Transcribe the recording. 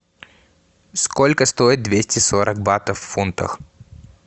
сколько стоит двести сорок батов в фунтах